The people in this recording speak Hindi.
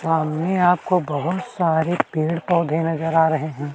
सामने आपको बहुत सारे पेड़ पौधे नजर आ रहे हैं।